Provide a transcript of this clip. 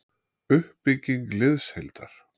Uppbygging liðsheildar-